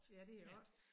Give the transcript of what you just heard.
Ja det er 8